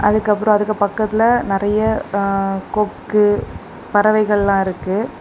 அதுக்கப்புறம் அதுக்கு பக்கத்துல நறைய கொக்கு பறவைகள்லாம் இருக்கு.